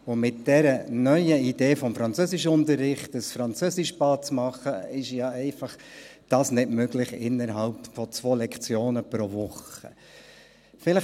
Mit der neuen Idee des Französischunterrichts, ein Französischbad zu machen, ist das ja einfach innerhalb von 2 Lektionen pro Woche nicht möglich.